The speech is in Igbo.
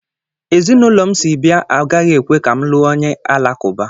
Ezinụlọ m si bịa agaghị ekwe ka m lụọ onye Alakụba.